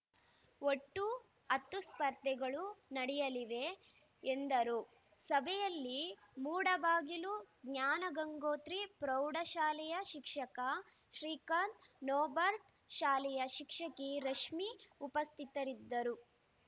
ಒಟ್ಟು ಹತ್ತು ಸ್ಪರ್ಧೆಗಳು ನಡೆಯಲಿವೆ ಎಂದರು ಸಭೆಯಲ್ಲಿ ಮೂಡಬಾಗಿಲು ಜ್ಞಾನಗಂಗೋತ್ರಿ ಪ್ರೌಢ ಶಾಲೆಯ ಶಿಕ್ಷಕ ಶ್ರೀಕಾಂತ್‌ ನೋಬರ್ಟ ಶಾಲೆಯ ಶಿಕ್ಷಕಿ ರಶ್ಮಿ ಉಪಸ್ಥಿತರಿದ್ದರು